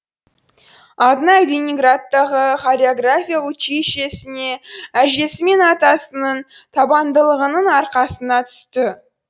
алтынай ленинградтағы хореография училищесіне әжесі мен атасының табандылығының арқасында түсті